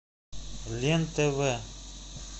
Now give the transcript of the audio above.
лен тв